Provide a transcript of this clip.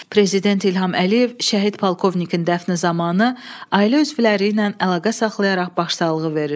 Prezident İlham Əliyev şəhid polkovnikin dəfni zamanı ailə üzvləri ilə əlaqə saxlayaraq başsağlığı verir.